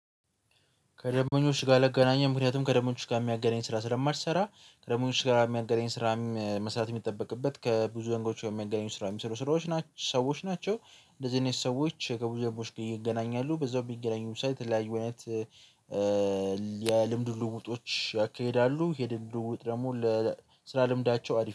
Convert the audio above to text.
ከደብኞች ጋር አልገናኘን ምክንያቱም ከደበኞች ጋር የሚያገናኘኝ ስራ ስለማልሰራ ከደበኞች ጋራ የሚያገናኝ ስራ መስራት የሚጠበቅበት ከብዙ ገንጎች ወይም የሚያገናኝ ስራ የሚሰሩ ስራዎች ናቸው ሰዎች ናቸው። እንደዚህ አይነት ሰዎች ከብዙ ዘንድ ወንድ ጊዜ ይገናኛሉ በዛው የሚገናኙ የተለያዩ እውነት የልምድ ልውውጦች ያካሄዳሉ የልውውጥ ደግሞ ለስራ ልምዳቸው አሪፍ ነው